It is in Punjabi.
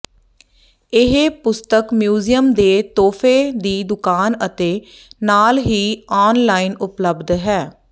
ਇਹ ਪੁਸਤਕ ਮਿਊਜ਼ੀਅਮ ਦੇ ਤੋਹਫ਼ੇ ਦੀ ਦੁਕਾਨ ਅਤੇ ਨਾਲ ਹੀ ਆਨਲਾਈਨ ਉਪਲਬਧ ਹੈ